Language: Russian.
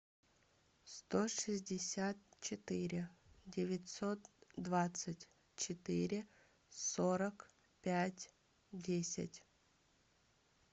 сто шестьдесят четыре девятьсот двадцать четыре сорок пять десять